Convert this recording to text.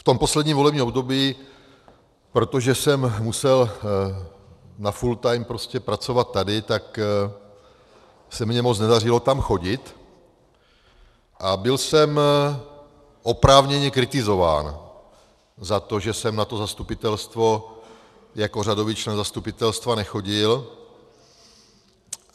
V tom posledním volebním období, protože jsem musel na full time prostě pracovat tady, tak se mně moc nedařilo tam chodit a byl jsem oprávněně kritizován za to, že jsem na to zastupitelstvo jako řadový člen zastupitelstva nechodil.